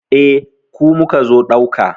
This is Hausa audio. Eh, ku muka zo ɗauka.